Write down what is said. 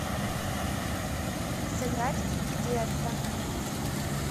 сыграть в тесто